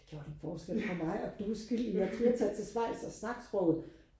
gjort en forskel for mig og du er skyld i at jeg turde tage til Schweiz og snakke sproget